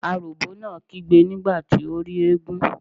Aròbó náà kígbe nígbà tí ó rí eégún.